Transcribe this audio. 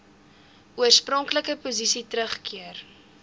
oorspronklike posisie teruggekeer